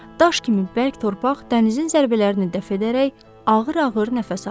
Daş kimi bərk torpaq dənizin zərbələrini dəf edərək ağır-ağır nəfəs alırdı.